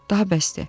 Daha bəsdir."